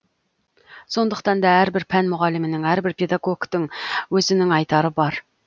сондықтан да әрбір пән мұғалімінің әрбір педагогтың өзінің айтары бар